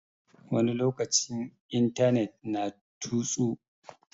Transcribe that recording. Wani lokaci intanet na tutsu.